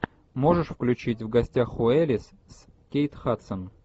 можешь включить в гостях у элис с кейт хадсон